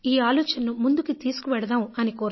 ఈ ఆలోచనను ముందుకు తీసుకువెడదాం అని